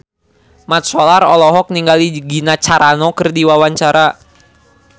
Mat Solar olohok ningali Gina Carano keur diwawancara